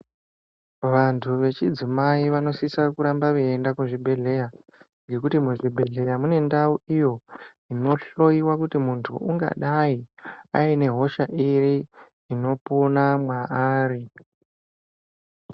Vantu vechidzimai vanosisa kuramba veienda kuzvibhehlera ngekuti muzvibhehlera mune ndau iyo inohloyiwa kuti muntu ungadai aine hosha iri inopona mwaari?